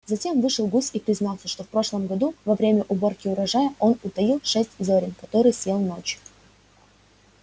затем вышел гусь и признался что в прошлом году во время уборки урожая он утаил шесть зёрен которые съел ночью